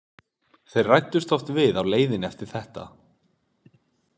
Þeir ræddust oft við á leiðinni eftir þetta.